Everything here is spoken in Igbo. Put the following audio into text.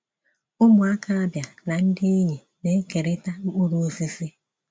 Ụmụaka Abia na ndị enyi na-ekerịta mkpụrụ osisi.